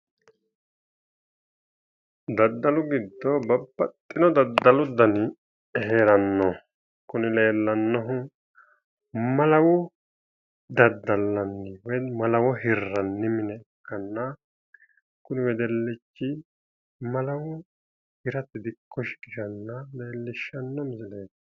Daddalu giddo babbaxxino daddalu dani hee'ranno kuni leellannohu malawo daddallanni woy malawo hirranni mine ikkanna kuni wedellichi malawo hirate dikko shiqishanna leellishshanno misieleeti.